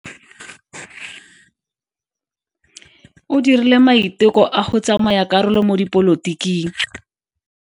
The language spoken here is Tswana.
O dirile maiteko a go tsaya karolo mo dipolotiking.